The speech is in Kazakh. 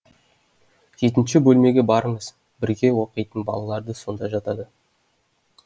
жетінші бөлмеге барыңыз бірге оқитын сонда жатады